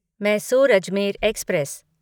Mysore Ajmer express